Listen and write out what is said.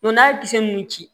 n'a ye kisɛ mun ci